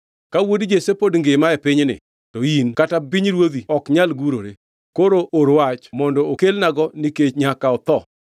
Ka wuod Jesse pod ngima e pinyni to in kata pinyruodhi ok nyal gurore. Koro or wach mondo okelnago nikech nyaka otho!”